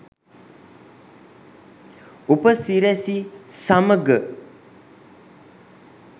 උපසිරැසි සමඟ